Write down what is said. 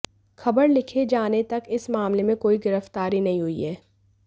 खबर लिखे जाने तक इस मामले में कोई गिरफ्तारी नहीं हुई है